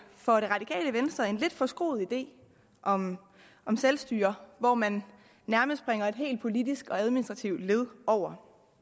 for det radikale venstre en lidt forskruet idé om om selvstyre hvor man nærmest springer et helt politisk og administrativt led over